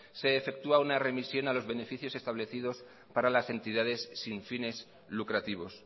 se efectúa una remisión a los beneficios establecidos para las entidades sin fines lucrativos